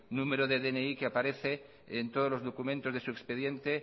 número de dni que aparece en todos sus documentos de su expediente